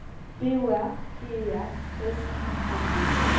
B O R G E R S I N D